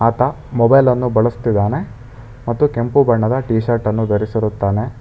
Mobile ಅನ್ನು ಬಳಸ್ತಿದಾನೆ ಮತ್ತು ಕೆಂಪು ಬಣ್ಣದ ಟಿ ಶರ್ಟ್ ಅನ್ನು ಧರಿಸಿರುತ್ತಾನೆ.